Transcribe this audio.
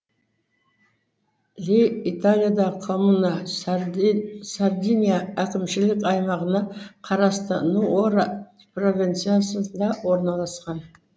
лей италиядағы коммуна сардиния әкімшілік аймағына қарасты нуоро провинциясында орналасқан